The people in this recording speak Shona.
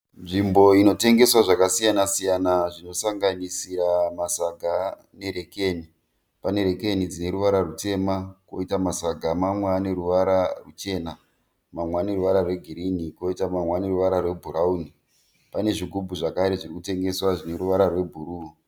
Nzvimbo inotengeswa zvakasiyana-siyana zvinosanganisira masaga nerekeni. Pane rekeni dzine ruvara rutema poita masaga amwe aneruvara ruchena, amwe aneruvara rwegirinhi amwe aneruvara rwebhurawuni. Poita zvigubhu zvakare zviri kutengeswa zvineruvara rwebhuruu.